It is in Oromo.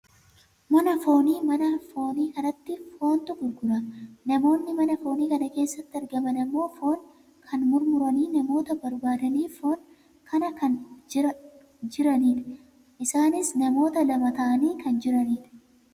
Mana foonii, mana foonii kanatti foontu gurgurama. Namoonni mana foonii kana keessatti argaaman ammoo foon kana mummuranii namoota barbaadaniif foon kana kennaa kan jiranidha. Isaanis namoota lama ta'anii kan jiranidha.